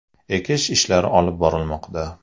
ekish ishlari olib borilmoqda.